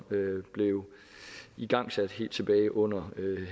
blev igangsat helt tilbage under